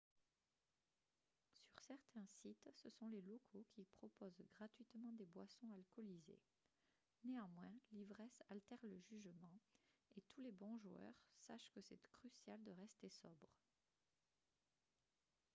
sur certains sites ce sont les locaux qui proposent gratuitement des boissons alcoolisées néanmoins l'ivresse altère le jugement et tous les bons joueurs sache que c'est crucial de rester sobre